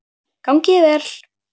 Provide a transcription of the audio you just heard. Gangi þér vel!